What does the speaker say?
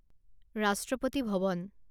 ৰাষ্ট্ৰপতি ভৱন